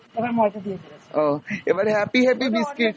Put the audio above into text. ও, এবার happy happy biscuit।